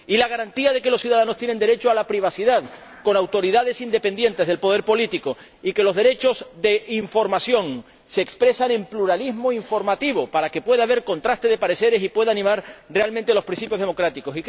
y la garantía de que los ciudadanos tienen derecho a la privacidad, con autoridades independientes del poder político, y de que los derechos de información se expresen en pluralismo informativo para que pueda haber contraste de pareceres y puedan desarrollarse realmente los principios democráticos.